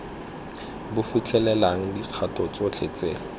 bo fitlhelelang dikgato tsotlhe tse